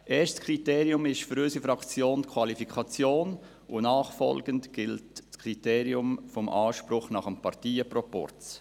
Erstes Kriterium ist für unsere Fraktion die Qualifikation, und nachfolgend gilt das Kriterium des Anspruchs nach dem Parteienproporz.